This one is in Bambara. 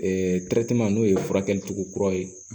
n'o ye furakɛli cogo kura ye